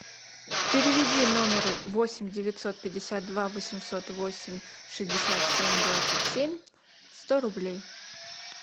переведи номеру восемь девятьсот пятьдесят два восемьсот восемь шестьдесят семь двадцать семь сто рублей